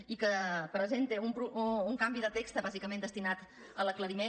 i que presenta un canvi de text bàsicament destinat a l’aclariment